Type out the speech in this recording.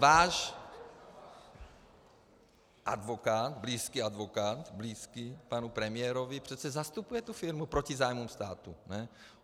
Váš advokát, blízký advokát, blízký panu premiérovi, přece zastupuje tu firmu proti zájmům státu.